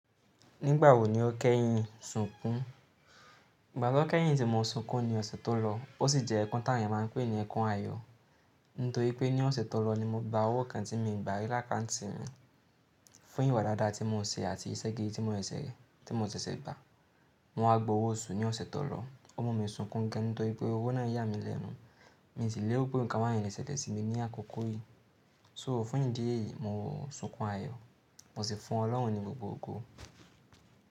Nígbàwò ní o kẹ́yìn sunkún? Ìgbà tó kẹ́yìn tí mo sunkún ni ọ̀sẹ̀ tó lọ, ó sì jẹ́ ẹkún ti àwọn èèyàn máa ń pè ní ẹkún ayọ̀. Nítorí pé ní ọ̀sẹ̀ tó lọ ni mo gba owó kan tí mi ò gba rí lákàntì mi fún ìwà dáadáa tí mo n ṣe àti iṣẹ́ gidi tí mo n ṣẹ̀ṣẹ̀ gbà. Mo wa gba owó oṣù ní ọ̀sẹ̀ tó lọ. O mú mi sunkún gan nítorí pé owó náà yà mí lẹ́nu. Mi ò tí léro wípé nǹkan bayẹn le ṣẹlẹ̀ sí mi ní àkókò yìí. So fún ìdí èyí, mo sunkún ayọ̀, mo sì fún Ọlọ́run ní gbogbo ògo.